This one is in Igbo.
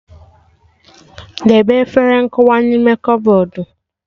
Debe efere nkụwa n'ime kọbọdụ